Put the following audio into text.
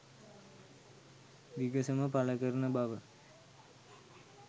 විගසම පල කරන බව